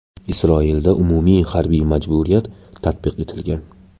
Isroilda umumiy harbiy majburiyat tatbiq etilgan.